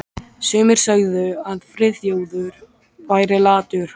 Sumir sögðu að Friðþjófur væri latur.